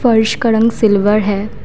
फर्श का रंग सिल्वर है।